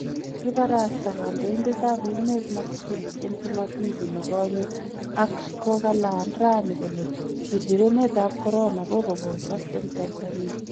Kibarasta kandoindetab emet Magufuli en chumabili nikonye ak kokalaan raani kole chirchirenetab corona kokoposak en Tanzania .